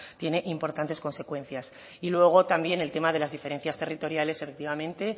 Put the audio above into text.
tiene importantes consecuencias y luego también el tema de las diferencias territoriales efectivamente